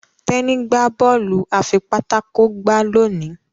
Teni gbà Bọ́ọ̀lù afipátákó gbá loni.